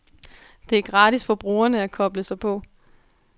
Det er gratis for brugerne at koble sig på.